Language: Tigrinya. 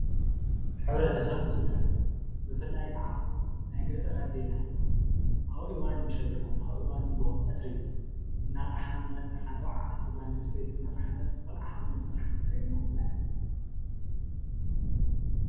ሕብረተሰብን ስድራን:- ብፍላይ ክዓ ናይ ገጠር ኣዴታት ኣብ እዋን ምሸት ይኹን ኣብ እዋን ንጉሆ ቀትሪ እናጠሓነት ሓንቲ ጓል ኣንስተይቲ ቆልዓ ሓዚላ እናጠሓነት ትርኣየና ዘላ እያ።